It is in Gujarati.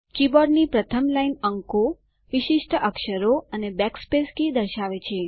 કીબોર્ડની પ્રથમ લાઈન અંકો વિશિષ્ટ અક્ષરો અને બેકસ્પેસ કી દર્શાવે છે